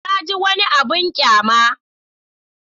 Na ji wani abin ƙyama.